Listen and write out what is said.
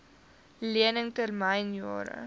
lening termyn jare